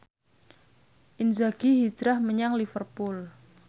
Inzaghi hijrah menyang Liverpool